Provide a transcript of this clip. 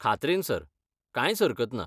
खात्रेन sir, कांयच हरकत ना.